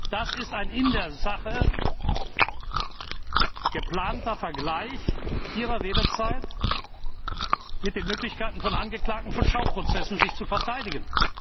Das ist ein in der Sache geplanter Vergleich Ihrer Redezeit mit den Möglichkeiten von Angeklagten von Schauprozessen, sich zu verteidigen.